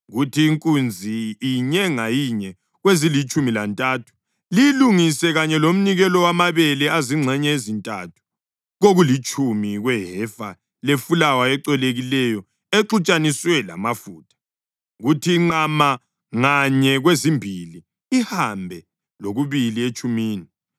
Kuthi inkunzi inye ngayinye kwezilitshumi lantathu liyilungise kanye lomnikelo wamabele azingxenye ezintathu kokulitshumi kwehefa lefulawa ecolekileyo exutshaniswe lamafutha; kuthi inqama nganye kwezimbili, ihambe lokubili etshumini;